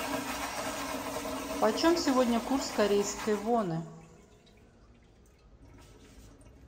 почем сегодня курс корейской воны